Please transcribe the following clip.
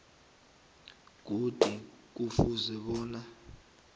godu kufuze bona